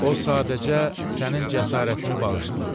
O sadəcə sənin cəsarətini bağışlayıb.